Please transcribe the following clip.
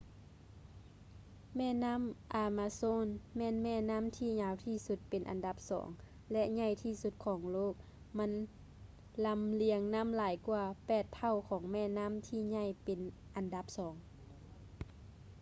ແມ່ນໍ້າ ອາມາໂຊນ ແມ່ນແມ່ນໍ້າທີ່ຍາວທີ່ສຸດເປັນອັນດັບສອງ ແລະ ໃຫຍ່ທີ່ສຸດຂອງໂລກ ມັນລຳລຽງນ້ຳຫຼາຍກ່ວາ 8 ເທົ່າຂອງແມ່ນໍ້າທີ່ໃຫຍ່ເປັນອັນດັບສອງ